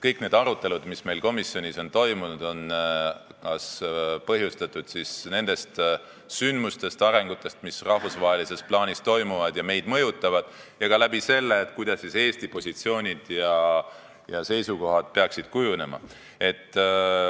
Kõik arutelud, mis meil komisjonis on toimunud, on põhjustatud nendest sündmustest ja arengutest, mis rahvusvahelises plaanis toimuvad ja meid mõjutavad, ning on mõeldud selleks, kuidas Eesti positsioone ja seisukohti peaks kujundama.